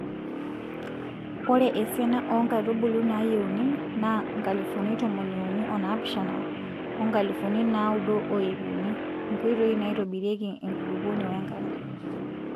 Ore esiana oo nkaitubulu naayieuni naa nkalifuni tomoniuni onaapishana oo nkalifuni naaudo o ip uni. INKOITOI NAAITOBIRIEKI ENKULUPUONI WENKARE.